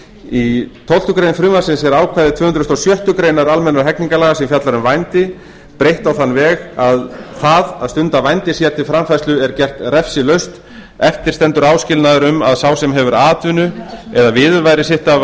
í tólf greinar frumvarpsins er ákvæði tvö hundruð og sjöttu grein almennra hegningarlaga sem fjallar um vændi breytt á þann veg að það að stunda vændi sér til framfærslu er gert refsilaust eftir stendur áskilnaður um að sá sem hefur atvinnu eða viðurværi sitt af